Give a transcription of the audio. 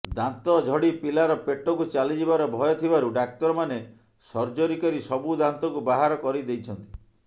ଦାନ୍ତ ଝଡି ପିଲାର ପେଟକୁ ଚାଲିଯିବାର ଭୟ ଥିବାରୁ ଡାକ୍ତରମାନେ ସର୍ଜରୀ କରି ସବୁ ଦାନ୍ତକୁ ବାହାର କରିଦେଇଛନ୍ତି